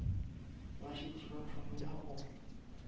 ba šetše ba thomile go